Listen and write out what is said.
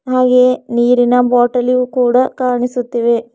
ಹಾಗೆಯೇ ನೀರಿನ ಬಾಟಲಿಯೂ ಕೂಡ ಕಾಣಿಸುತ್ತಿವೆ.